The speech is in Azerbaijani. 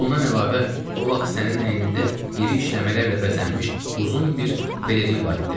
Bundan əlavə, o vaxt sənin əynində iri işləmələrlə bəzənmiş uzun bir pelerin var idi.